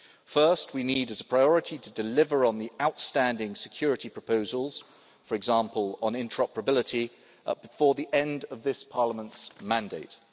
First, we need, as a priority, to deliver on the outstanding security proposals, for example on interoperability, before the end of this Parliament's current term.